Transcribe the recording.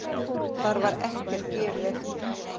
Þar var ekkert gefið eftir.